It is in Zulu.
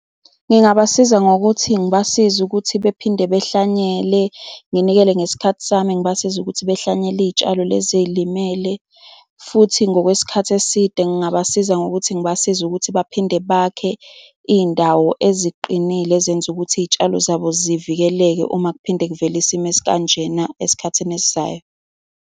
Ngingabasiza ngokuthi ngibasize ukuthi bephinde behlanyele, nginikele ngesikhathi sami. Ngibasize ukuthi behlanyele iy'tshalo lezi ey'limele, futhi ngokwesikhathi eside ngingabasiza ngokuthi ngibasize ukuthi baphinde bakhe iy'ndawo eziqinile ezenza ukuthi iy'tshalo zabo zivikeleke uma kuphinde kuvele isimo esikanjena esikhathini esizayo.